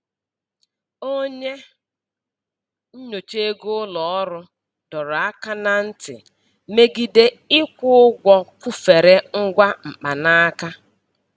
Onye nnyocha ego ụlọ ọrụ dọrọ aka na ntị megide ịkwụ ụgwọ kwụfere ngwa mkpanaka.